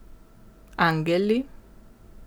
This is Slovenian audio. Angeli?